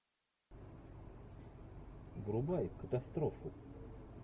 врубай катастрофу